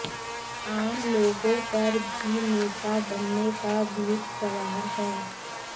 आम लोगों पर भी नेता बनने का भूत सवार है